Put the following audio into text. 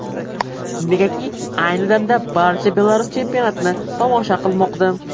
Negaki ayni damda barcha Belarus chempionatini tomosha qilmoqda.